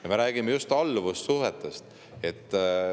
Ja me räägime just alluvussuhetest.